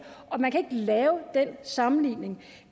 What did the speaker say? og man kan ikke lave den sammenligning